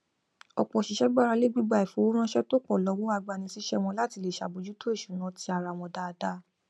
ọpọ òṣìṣẹ gbarale gbígba ifowóránṣẹ to pọ lọwọ agbanisíṣẹ wọn láti lè ṣàbójútó ìṣúná ti ara wọn dáadáa